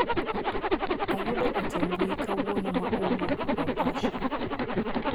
Ayudo ote mbui kawuono ma owuok kuom Asha.